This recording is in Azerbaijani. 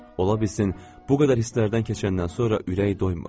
Ola bilsin, bu qədər hisslərdən keçəndən sonra ürək doymur.